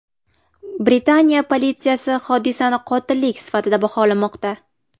Britaniya politsiyasi hodisani qotillik sifatida baholamoqda.